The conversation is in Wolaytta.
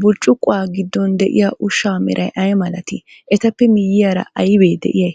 Burccuqquwa giddon de'iya ushshaa meray ay malatii? Etappe miyyiyara aybee de'iyay?